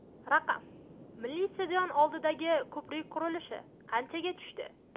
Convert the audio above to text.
Raqam: Milliy stadion oldidagi ko‘prik qurilishi qanchaga tushdi?.